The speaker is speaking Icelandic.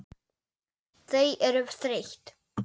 Þau eru þreytt.